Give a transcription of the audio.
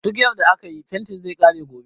Duk yarda akayi fentin zai kare gobe